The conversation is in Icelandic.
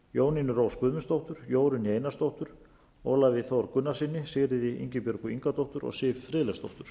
jónínu rós guðmundsdóttur jórunni einarsdóttur ólafi þór gunnarssyni sigríði ingibjörgu ingadóttur og siv friðleifsdóttur